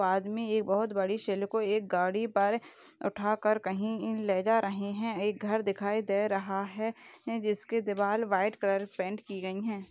बाद मे ये बहुत बड़ी शील को एक गाड़ी पर उठा कर कही ई-लेजा रही है एक घर दिखाई दे रहा है जिसके दीवार व्हाइट कलर पैंट की गई है।